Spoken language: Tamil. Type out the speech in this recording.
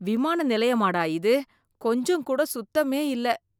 விமான நிலையமா டா இது! கொஞ்சம் கூட சுத்தமே இல்ல.